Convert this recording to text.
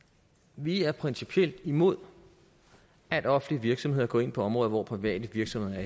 vi er principielt imod at offentlige virksomheder går ind på områder hvor private virksomheder